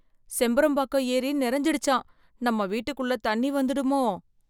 செம்பரம்பாக்கம் ஏரி நிறைஞ்சிடுச்சான் நம்ம வீட்டுக்குள்ள தண்ணி வந்துடுமோ!